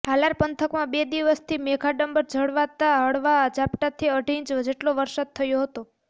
હાલાર પંથકમાં બે દિવસથી મેઘાડંબર જળવાતા હળવા ઝાપટાંથી અઢી ઈંચ જેટલો વરસાદ થયો હતો